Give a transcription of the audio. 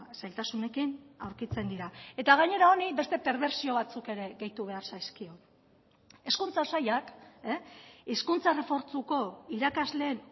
zailtasunekin aurkitzen dira eta gainera honi beste perbertsio batzuk ere gehitu behar zaizkio hezkuntza sailak hizkuntza errefortzuko irakasleen